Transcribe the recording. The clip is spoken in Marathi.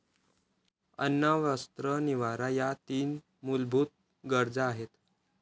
अन्न, वस्त्र, निवारा या तीन मुलभूत गरजा आहेत.